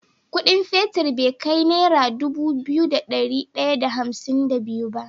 Ƙudin fetir be kai naira Dubu biyu da dari daya da hamsin da biyu ba